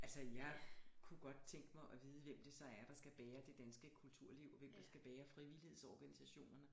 Altså jeg kunne godt tænke mig at vide hvem det så er der skal bære det danske kulturliv og hvem der skal bære frivillighedsorganisationerne